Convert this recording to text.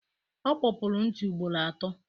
O kpopuru ntị ugboro atọ.